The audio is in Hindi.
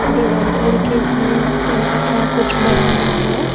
डिवाइडर के लिए स्टील का कुछ बनाया है।